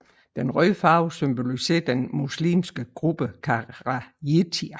Den røde farve symboliserer den muslimske gruppe kharijiter